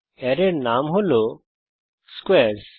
অ্যারের নাম হল স্কোয়ারস